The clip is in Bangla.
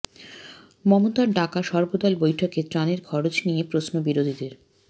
মমতার ডাকা সর্বদল বৈঠকে ত্রাণের খরচ নিয়ে প্রশ্ন বিরোধীদের